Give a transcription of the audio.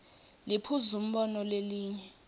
liphuzu umbono lelinye